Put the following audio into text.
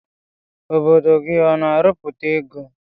Obodo gi ọna arụputa ego?